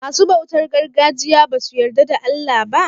Masu bautar gargajiya basu yarda da Allah ba?